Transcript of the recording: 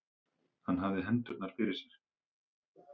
Hann hafði hendurnar fyrir sér.